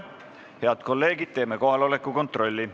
Head kolleegid, teeme kohaloleku kontrolli.